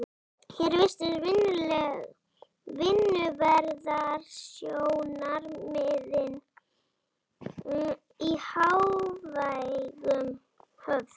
Hér virtust vinnuverndarsjónarmiðin í hávegum höfð.